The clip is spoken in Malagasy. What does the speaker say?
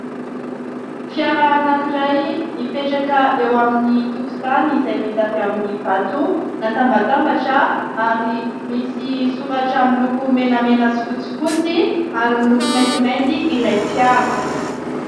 Fiara anankiray mipetraka eo amin'ny tokontany izay vita avy amin'ny vato natambatambatra ary misy soratra miloko menamena sy fotsifotsy ary miloko maintimanty ilay fiara.